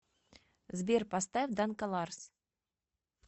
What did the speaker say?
сбер поставь данколарс